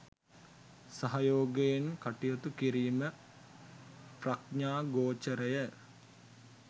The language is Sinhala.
සහයෝගයෙන් කටයුතු කිරීම ප්‍රඥාගෝචරය.